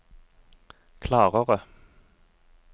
klarere